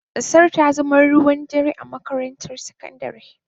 Gasar ta zama ruwan dare a makarantar sakandare.